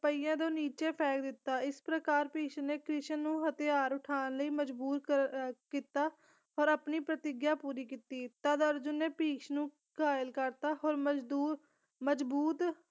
ਪਹੀਆਂ ਤੋਂ ਨੀਚੇ ਫੈਂਕ ਦਿੱਤਾ ਇਸ ਪ੍ਰਕਾਰ ਭਿਸ਼ਮ ਨੇ ਕ੍ਰਿਸ਼ਨ ਨੂੰ ਹਥਿਆਰ ਉਠਾਉਣ ਲਈ ਮਜਬੂਰ ਅਹ ਮਜਬੂਰ ਕੀਤਾ ਔਰ ਆਪਣੀ ਪ੍ਰਤਿਗਿਆ ਪੂਰੀ ਕੀਤੀ ਤਦ ਅਰਜੁਨ ਨੇ ਭਿਸ਼ਮ ਨੂੰ ਘਾਇਲ ਕਰਤਾ ਹੋਰ ਮਜਦੂਰ ਮਜ਼ਬੂਤ